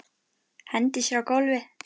Hendir sér á gólfið.